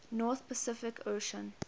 north pacific ocean